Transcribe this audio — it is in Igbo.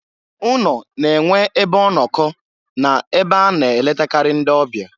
Ụnọ na-enwe ebe ọnọkọ na ebe a na-eletakarị ndị ọbịa.